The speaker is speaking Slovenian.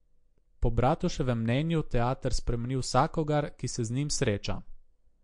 Po Bratuševem mnenju teater spremeni vsakogar, ki se z njim sreča.